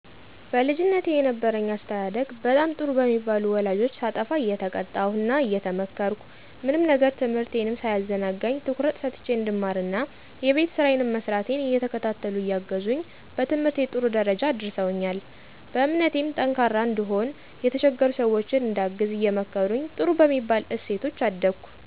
በልጅነቴ የነበረኝ አስተዳደግ በጣም ጥሩ በሚባሉ ወላጆች ሳጠፋ እየተቀጣሁ እና እየተመከርኩ፣ ምንም ነገር ትምህርቴንም ሳያዘናጋኝ ትኩረት ሰጥቸ እንድማር እና የቤት ስራየንም መስራቴን እየተከታተሉ እያገዙኝ በትምህርቴ ጥሩ ደረጃ አድርሰውኛል። በእምነቴም ጠንካራ እንድሆን፣ የተቸገሩ ሰወችን እንዳግዝ አየመከሩኝ በጥሩ በሚባል እሴቶች አደኩ።